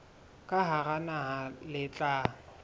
ka hara naha le tla